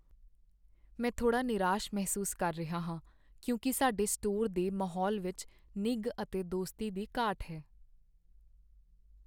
ਮੈਂ ਥੋੜ੍ਹਾ ਨਿਰਾਸ਼ ਮਹਿਸੂਸ ਕਰ ਰਿਹਾ ਹਾਂ ਕਿਉਂਕਿ ਸਾਡੇ ਸਟੋਰ ਦੇ ਮਾਹੌਲ ਵਿੱਚ ਨਿੱਘ ਅਤੇ ਦੋਸਤੀ ਦੀ ਘਾਟ ਹੈ।